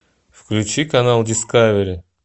включи канал дискавери